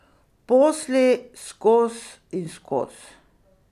Posli skoz in skoz.